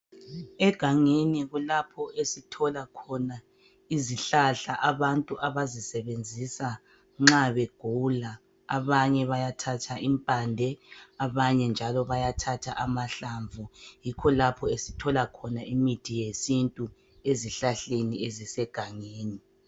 Egangeni kulapho esithola khona izihlahla abantu abazisebenzisa nxa begula. Abanye bayathatha impande abanye njalo bayathatha amahlamvu yikho lapho esithola khona imithi yesintu ezihlahleni ezisegangeni.